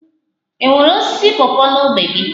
Enwere osisi pawpaw n'ógbè gị?